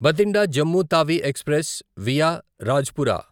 Bathinda Jammu Tawi express via Rajpura